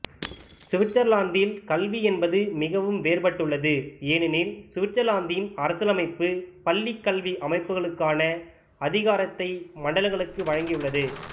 சுவிட்சர்லாந்தில் கல்வி என்பது மிகவும் வேறுபட்டுள்ளது ஏனெனில் சுவிட்சர்லாந்தின் அரசியலமைப்பு பள்ளிக்கல்வி அமைப்புக்கான அதிகாரத்தை மண்டலங்களுக்கு வழங்கியுள்ளது